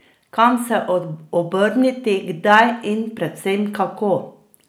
Kam se obrniti, kdaj in predvsem kako?